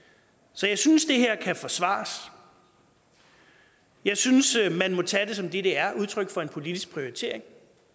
så jeg synes at det her kan forsvares jeg synes at man må tage det som det det er udtryk for en politisk prioritering